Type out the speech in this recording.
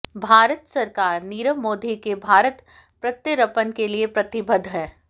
भारत सरकार नीरव मोदी के भारत प्रत्यर्पण के लिए प्रतिबद्ध है